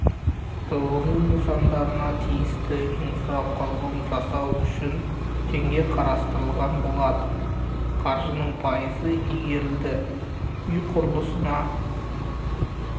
тұрғын-үй нысандарына тиісті инфрақұрылым жасау үшін теңге қарастырылған болатын қаржының пайызы игерілді үй құрылысына